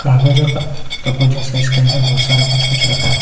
कागजों का पुस्तकों जैसा इसके अंदर बहुत सारा कुछ - कुछ रखा है।